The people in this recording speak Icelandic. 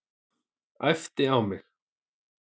Æpti á mig.